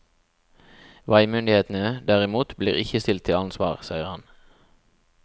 Veimyndighetene, derimot, blir ikke stilt til ansvar, sier han.